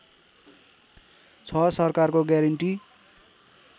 छ सरकारको ग्यारेन्टी